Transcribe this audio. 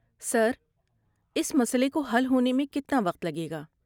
سر، اس مسئلے کو حل ہونے میں کتنا وقت لگے گا؟